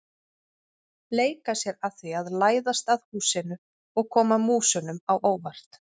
Leika sér að því að læðast að húsinu og koma músunum á óvart.